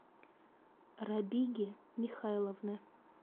рабиги михайловны